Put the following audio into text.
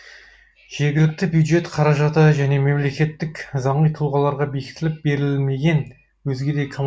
жергілікті бюджет қаражаты және мемлекеттік заңи тұлғаларға бекітіліп берілмеген